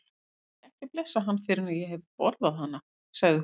Ég ætla ekki að blessa hann fyrr en ég hef borðað hana, sagði hún.